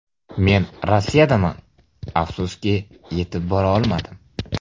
Men Rossiyadaman, afsuski yetib bora olmadim.